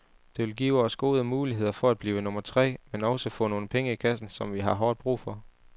Det vil give os gode muligheder for at blive nummer tre, men også få nogle penge i kassen, som vi har hårdt brug for.